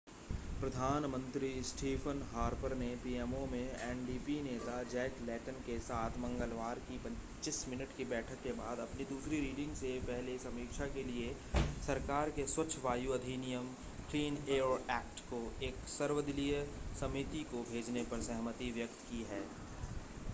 प्रधान मंत्री Stephen Harper ने PMO में एनडीपी नेता जैक लेटन के साथ मंगलवार की 25 मिनट की बैठक के बाद अपनी दूसरी रीडिंग से पहले समीक्षा के लिए सरकार के 'स्वच्छ वायु अधिनियम' क्लिन एयर ऐक्ट को एक सर्वदलीय समिति को भेजने पर सहमति व्यक्त की है